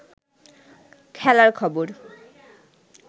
খেলার খবর